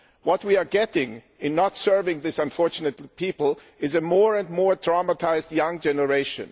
What we are getting in not serving these unfortunate people is a more and more traumatised young generation.